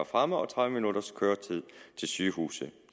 fremme og tredive minutters køretid til sygehuse